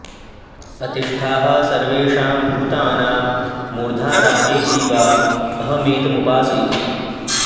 अतिष्ठाः सर्वेषां भूतानां मूर्धा राजेति वा अहमेतमुपास इति